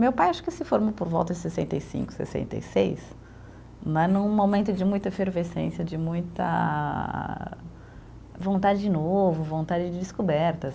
Meu pai acho que se formou por volta de sessenta e cinco, sessenta e seis, né, num momento de muita efervescência, de muita vontade de novo, vontade de descobertas.